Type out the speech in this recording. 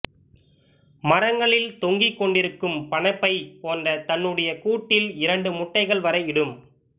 மரங்களில் தொங்கிக்கொண்டிருக்கும் பணப்பை போன்ற தன்னுடைய கூட்டில் இரண்டு முட்டைகள் வரை இடும்